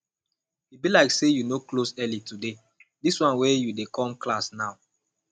e be like say you no close early today dis wan you dey come class now